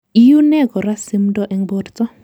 Iune kora simdo en borto.